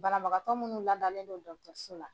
Banabagatɔ minnu ladalen la.